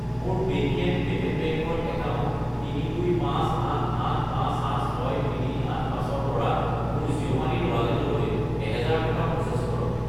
মোৰ Paytm payment bank ৰ account 32588586385 ৰ পৰা মোৰ জিঅ' মানি ৰ ৱালেটলৈ 1000 টকা প্ৰ'চেছ কৰক।